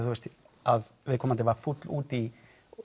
að viðkomandi var fúll út í